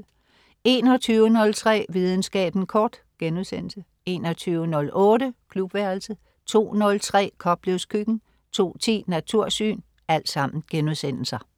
21.03 Videnskaben kort* 21.08 Klubværelset* 02.03 Koplevs Køkken* 02.10 Natursyn*